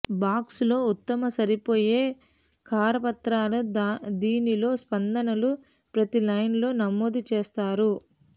box లో ఉత్తమ సరిపోయే కరపత్రాలు దీనిలో స్పందనలు ప్రతి లైన్ లో నమోదు చేస్తారు